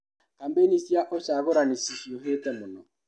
Kambeini cia ũcagũrani cihiũhĩte mũno.